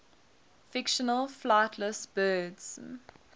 fictional flightless birds